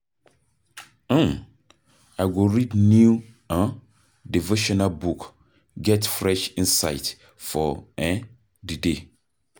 um I go read new um devotional book, get fresh insight for eh di day.